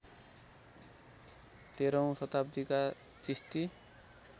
१३ औँ शताब्दीका चिस्ती